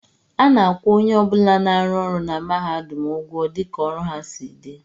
A na-akwụ onye ọ bụla na-arụ ọrụ na mahadum ụgwọ dịka ọrụ ha si dị